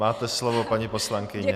Máte slovo, paní poslankyně.